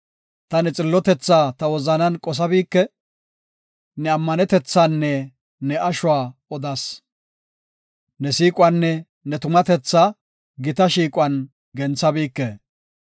Ta ne xillotethaa ta wozanan qosabike; ne ammanetethanne ne ashuwa odas. Ne siiquwanne ne tumatethaa, gita shiiquwan genthabike.